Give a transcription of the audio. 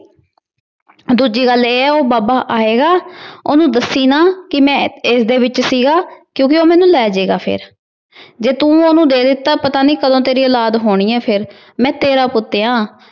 ਦੂਜੀ ਗੱਲ ਇਹ ਐ ਉਹ ਬਾਬਾ ਆਏਗਾ ਅਹ ਉਹਨੂੰ ਦੱਸੀ ਨਾ ਕਿ ਮੈ ਇਸਦੇ ਵਿੱਚ ਸੀਗਾ। ਕਿਉਂਕਿ ਉਹ ਮੈਨੂੰ ਲੈਜੇਗਾ ਫਿਰ। ਜੇ ਤੂੰ ਉਹਨੂੰ ਦੇ ਦਿੱਤਾ, ਪਤਾ ਨੀ ਕਦੋ ਤੇਰੀ ਔਲਾਦ ਹੋਣੀ ਐ ਫਿਰ। ਮੈ ਤੇਰਾ ਪੁੱਤ ਆ।